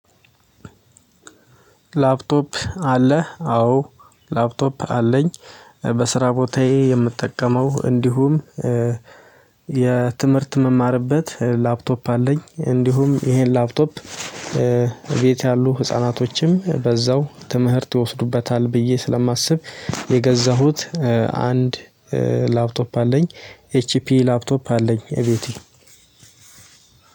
ላፕቶፕ አለ አዎ ላፕቶፕ አለኝ። በስራ ቦታዬ የምጠቀመው እንዲሁም የትምህርት የምማርበት ላፕቶፕ አለኝ እንዲሁም ይሄን ላፕቶፕ ቤት ያሉ ህፃናቶችም በዛው ትምህርት ይወስዱበታል ብዬ ስለማስብ የገዛሁት። አንድ ላፕቶፕ አለኝ። ኤችፒ ላፕቶፕ አለኝ ቤቴ።